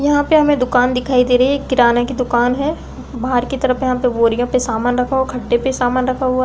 यहाँ पे हमें दुकान दिखाई दे रही है। एक किराने की दुकान है। बाहर की तरफ यहाँ पे बोरियों पे सामान रखा हुआ खड्डे पे सामान रखा हुआ --